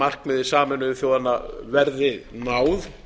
markmiði sameinuðu þjóðanna verði náð